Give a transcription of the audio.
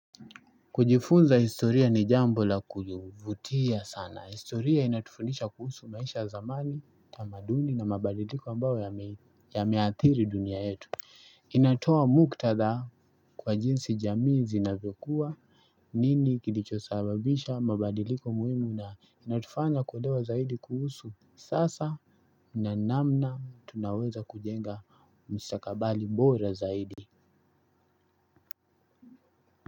Kujifunza historia ni jambo la kujivutia sana, historia inatufundisha kuhusu maisha zamani, tamaduni na mabadiliko ambao yameathiri dunia yetu. Inatoa muktada kwa jinsi jamii zinavyokuwa, nini kilicho sababisha mabadiliko muhimu na inatufanya kuolewa zaidi kuhusu sasa na namna tunaweza kujenga mstakabali bora zaidi.